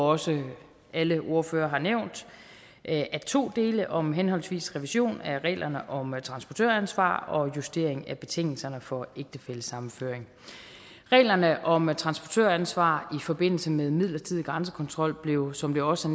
også alle ordførere har nævnt af to dele nemlig om henholdsvis revision af reglerne om transportøransvar og justering af betingelserne for ægtefællesammenføring reglerne om transportøransvar i forbindelse med midlertidig grænsekontrol blev som det også